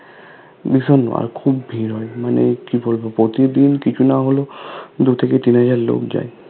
bison আর খুব ভিড় হয় মানে কি বলবো প্রতিদিন কিছু না হলেও দু থেকে তিন হাজার লোক যায়